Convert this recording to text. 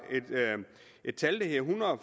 et tal